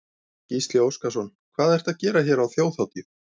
Gísli Óskarsson: Hvað ertu að gera hér á þjóðhátíð?